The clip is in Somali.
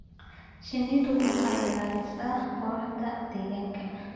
Shinnidu waxay ilaalisaa quruxda deegaanka.